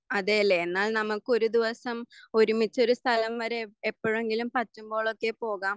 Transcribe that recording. അതെല്ലേ എന്നാൽ നമക്ക് ഒരു ദിവസം ഒരുമിച്ചൊരു സ്ഥലം വരെ എപ്പൊഴെങ്കിലും പറ്റുമ്പോഴൊക്കെ പോകാം.